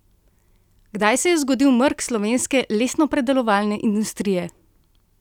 Kdaj se je zgodil mrk slovenske lesnopredelovalne industrije?